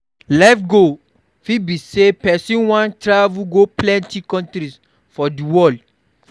Life goal fit be sey person wan travel go plenty countries for di world